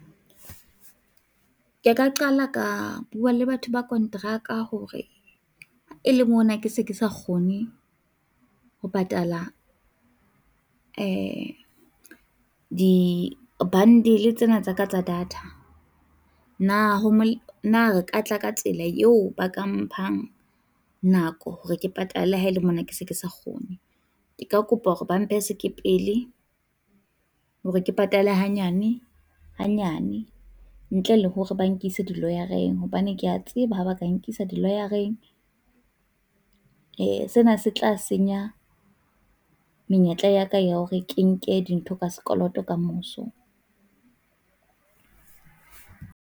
Ke ka qala, ka bua le batho ba kontraka hore e le mona ke se ke sa kgone ho patala di-bundle tsena tsa ka tsa data, na ho na ka tla ka tsela eo ba ka mphang nako hore ke patale haele mona ke se ke sa kgone, ke ka kopa hore ba mphe sekepele hore ke patale hanyane hanyane ntle le hore ba nkise di-lawyer-reng hobane ke a tseba ha ba ka nkisa di-lawyer-reng, e, sena se tla senya menyetla ya ka ya hore ke nke dintho ka sekoloto ka moso.